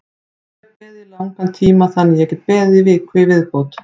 Ég hef beðið í langan tíma þannig að ég get beðið í viku í viðbót.